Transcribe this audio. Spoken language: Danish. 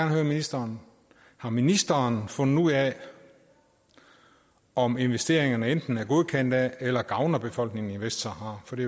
høre ministeren har ministeren fundet ud af om investeringerne enten er godkendt af eller gavner befolkningen i vestsahara for det